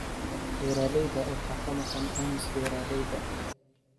Beeralayda waxaa ka maqan caymis beeralayda.